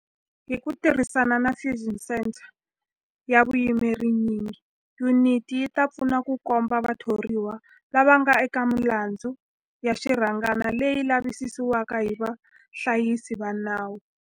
Hi ku tirhisana na Fusion Centre ya vuyimeri nyingi, yuniti yi ta pfuna ku komba vathoriwa lava nga eka milandzu ya xirhangana leyi lavisisiwaka hi vahlayisi va nawu.